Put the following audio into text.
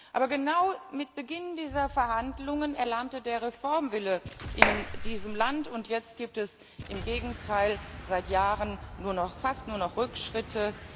Aber genau mit Beginn dieser Verhandlungen erlahmte der Reformwille in diesem Land, und jetzt gibt es im Gegenteil seit Jahren fast nur noch Rückschritte.